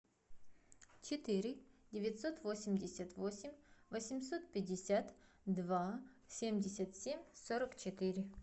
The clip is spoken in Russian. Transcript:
четыре девятьсот восемьдесят восемь восемьсот пятьдесят два семьдесят семь сорок четыре